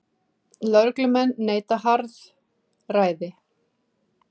Lögreglumenn neita harðræði